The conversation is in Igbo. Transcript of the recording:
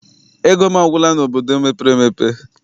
Ego m agwụla n'obodo mepere emepe.